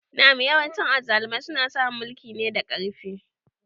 Na'am yawancin azzalumai suna samun mulki ne da ƙarfi.